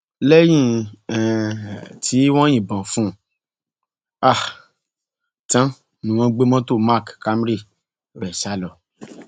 lẹyìn um tí wọn yìnbọn fún un um tán ni wọn gbé mọtò mark camry rẹ sá lọ